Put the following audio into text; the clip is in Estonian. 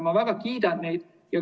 Ma väga kiidan neid.